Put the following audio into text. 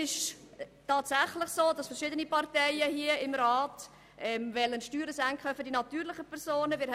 Tatsächlich wollen verschiedene Grossratsfraktionen die Steuern für natürliche Personen senken.